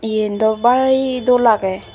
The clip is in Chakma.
yen dw bari dol agey.